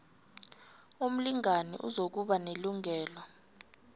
umlingani uzokuba nelungelo